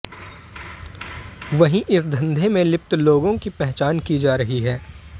वहीं इस धंधे में लिप्त लोगों की पहचान की जा रही है